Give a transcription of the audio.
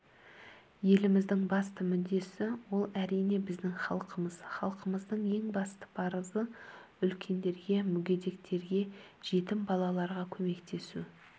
еліміздің басты мүддесі ол әрине біздің халқымыз халқымыздың ең басты парызы үлкендерге мүгедектерге жетім балаларға көмектесу